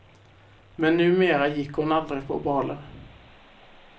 Men numera gick hon aldrig på baler.